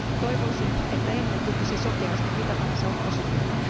Toivoisin, että emme tukisi sokeasti mitä tahansa oppositiota.